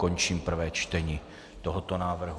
Končím prvé čtení tohoto návrhu.